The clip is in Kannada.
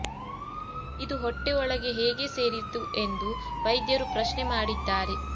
ಇದು ಹೊಟ್ಟೆ ಒಳಗೆ ಹೇಗೆ ಸೇರಿತು ಎಂದು ವೈದ್ಯರು ಪ್ರಶ್ನೆ ಮಾಡಿದ್ದಾರೆ